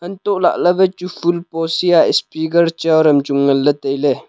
antoh lah ley wai chu phool pots he a speaker chair chu nganley tailey.